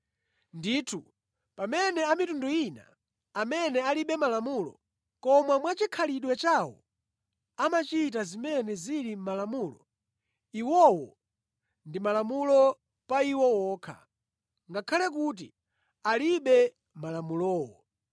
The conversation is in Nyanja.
Ndithu, pamene a mitundu ina, amene alibe Malamulo, koma mwachikhalidwe chawo amachita zimene zili mʼMalamulo, iwowo ndi Malamulo pa iwo okha, ngakhale kuti alibe Malamulowo.